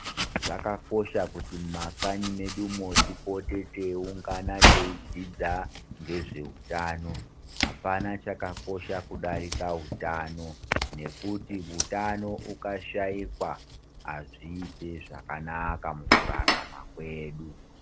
Zvakakosha kuti mumakanyi medu umo tipote teiungana teidzidza nezvehutano apana chakakosha kudarika hutano nekuti utano ukashaikwa azviiti zvakanaka mukurarama kwedu.